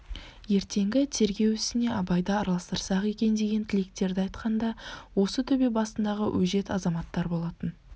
ертеңгі тергеу ісіне абайды араластырсақ екен деген тілектерді айтқан да осы төбе басындағы өжет азаматтар болатын